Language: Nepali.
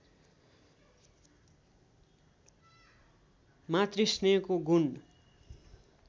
मातृ स्नेहको गुण